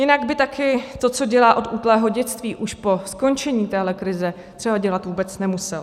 Jinak by také to, co dělá od útlého dětství, už po skončení téhle krize třeba dělat vůbec nemusel.